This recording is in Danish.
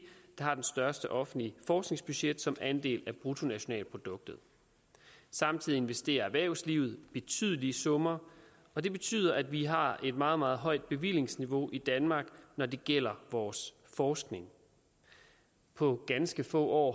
har det største offentlige forskningsbudget som andel af bruttonationalproduktet samtidig investerer erhvervslivet betydelige summer og det betyder at vi har et meget meget højt bevillingsniveau i danmark når det gælder vores forskning på ganske få år